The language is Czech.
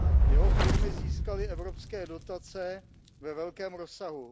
Jeho firmy získaly evropské dotace ve velkém rozsahu.